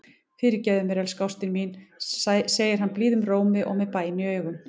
Fyrirgefðu mér, elsku ástin mín, segir hann blíðum rómi og með bæn í augum.